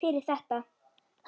Fyrir þetta.